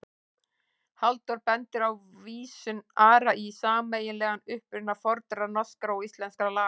Halldór bendir á vísun Ara í sameiginlegan uppruna fornra norskra og íslenskra laga.